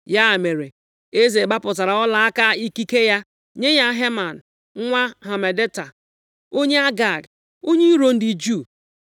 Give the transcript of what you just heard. Ya mere, eze gbapụtara ọlaaka ikike ya + 3:10 Maọbụ, Mgbaaka eze bụ ihe e ji akachi okwu mee ka okwu ahụ bụrụ iwu. \+xt Jen 41:42; Est 8:2,8\+xt* nye ya Heman nwa Hamedata onye Agag, onye iro ndị Juu